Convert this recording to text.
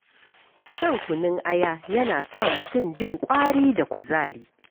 Shan kunun aya yana sa mutum jin ƙwari da kuzari.